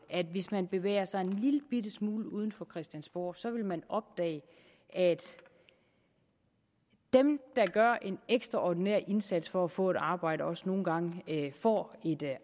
at hvis man bevæger sig en lillebitte smule uden for christiansborg så vil man opdage at dem der gør en ekstraordinær indsats for at få et arbejde også nogle gange får et